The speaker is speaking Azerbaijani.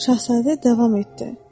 Şahzadə davam etdi.